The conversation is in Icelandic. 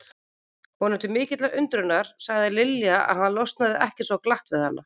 Honum til mikillar undrunar sagði Lilja að hann losnaði ekki svo glatt við hana.